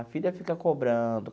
A filha fica cobrando.